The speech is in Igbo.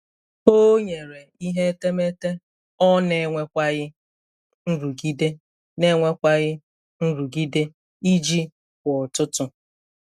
O nyere ihe etemeete ọ na-enwekwaghị nrụgide na-enwekwaghị nrụgide iji kwa ụtụtụ.